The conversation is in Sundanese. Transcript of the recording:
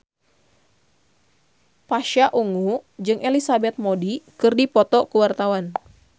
Pasha Ungu jeung Elizabeth Moody keur dipoto ku wartawan